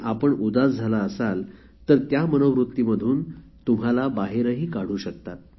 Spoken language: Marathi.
आपण उदास झाला असाल तर त्या मनोवृत्तीमधून तुम्हाला बाहेरही काढू शकतात